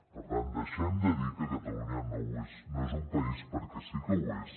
per tant deixem de dir que catalunya no és un país perquè sí que ho és